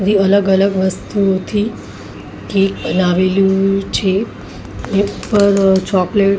રી અલગ-અલગ વસ્તુઓથી કેક બનાવેલું છે કેક પર ચોકલેટ --